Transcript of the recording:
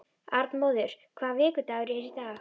Arnmóður, hvaða vikudagur er í dag?